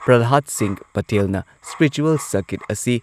ꯄ꯭ꯔꯜꯍꯥꯗ ꯁꯤꯡꯍ ꯄꯇꯦꯜꯅ spiritual circuit ꯑꯁꯤ